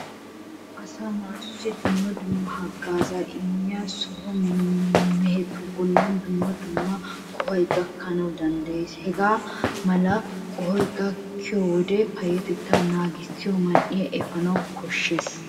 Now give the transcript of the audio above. Asaa naatussi dumma dumma haggaazaa immiya so mehetu bollan dumma dumma qohoy gakkana danddayees. Hagaa mala qohoy gakkiyo wode payyatettaa naagissiyi man"iya efana koshshees.